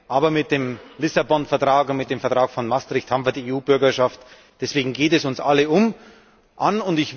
Aber mit dem Lissabon Vertag und mit dem Vertrag von Maastricht haben wir die EU Bürgerschaft, deswegen geht es uns alle an.